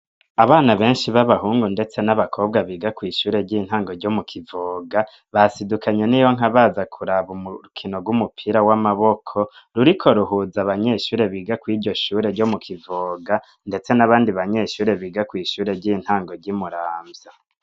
Abana benshi b'abahungu ndetse n'abakobwa biga kw'ishure ry'intango ryo mu Kivoga, basidukanye n'iyonka baza kuraba urukino rw'umupira w'amaboko ruriko ruhuza abanyeshure biga kw'iryo shure ryo mu Kivoga ndetse n'abandi banyeshure biga kw'ishure ry'intango ry'i Muramvya.